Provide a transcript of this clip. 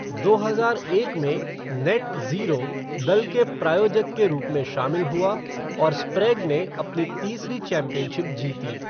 दो हजार एक में, नेट ज़ीरो दल के प्रायोजक के रूप में शामिल हुआ, और स्प्रेग ने अपनी तीसरी चैंपियनशिप जीती।